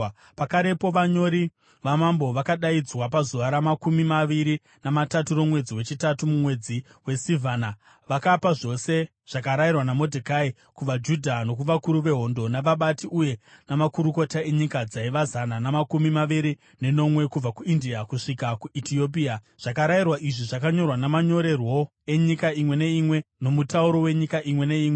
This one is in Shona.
Pakarepo vanyori vamambo vakadaidzwa, pazuva ramakumi maviri namatatu romwedzi wechitatu, mumwedzi waSivhana. Vakapa zvose zvakarayirwa naModhekai kuvaJudha, nokuvakuru vehondo, navabati uye namakurukota enyika dzaiva zana namakumi maviri nenomwe kubva kuIndia kusvika kuEtiopia. Zvakarayirwa izvi zvakanyorwa namanyorerwo enyika imwe neimwe nomutauro wenyika imwe neimwe.